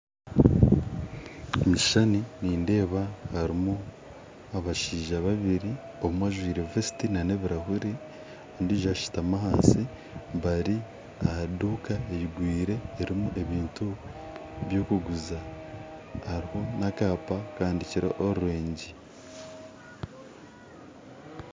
Omukishushani nindeeba barimu abashaija babiri omwe ajwire vesiti n'ebirahure ondiijo ashutami ahansi, bari ahaduuka eigwire erimu ebintu byokuguza hariho nakaapa kahandikireho oreengi